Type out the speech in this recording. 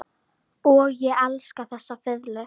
Og ég elska þessa fiðlu.